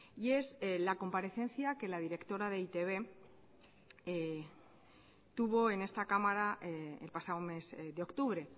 y es la comparecencia que la directora de e i te be tuvo en esta cámara el pasado mes de octubre